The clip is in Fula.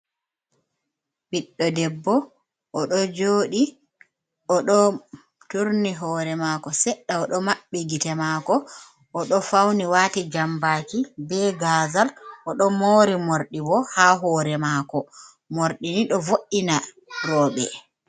Biɗdo debbo o ɗo joɗi o ɗo turni hore mako sedda Odo maɓɓi gite mako, o ɗo fauni wati jambaki be gazal, o ɗo mori mordi bo ha hore mako. Mordini do vo’ina robe.